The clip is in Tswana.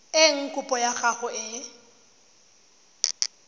eng kopo ya gago e